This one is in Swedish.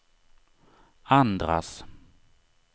andras